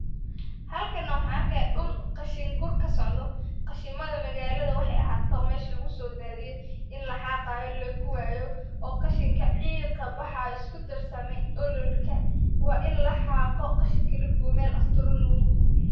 Halkan na waxaan arkaya dul qashin gur kasocodo qashimadha magaalada waxey ahaato ba mesha lgusoodadhiye in laxaaqayo lagubaayo oo qashinka ciig kabaxayo iskudarsame ololka waa in laxaago qashinka lagube meel asturan lagugubo.